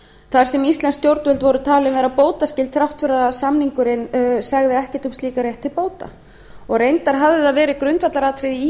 þar sem íslensk stjórnvöld voru talin vera bótaskyld þrátt fyrir að samningurinn segði ekkert um slíkan rétt til bóta og reyndar hafði það verið grundvallaratriði í